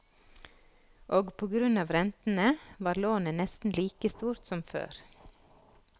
Og på grunn av rentene, var lånet nesten like stort som før.